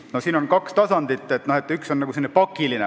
No siin on kaks tasandit, üks neist on pakiline.